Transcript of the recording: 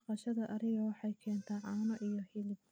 Dhaqashada ariga waxay keentaa caano iyo hilib.